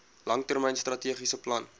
langtermyn strategiese plan